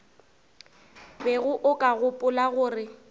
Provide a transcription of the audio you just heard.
bego o ka gopola gore